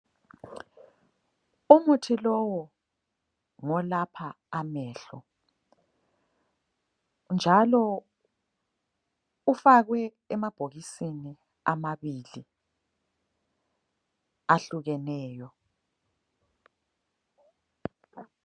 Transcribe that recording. Umuthi lowu ngolapha amehlo njalo ufakwe emabhokisini amabili ahlukeneyo.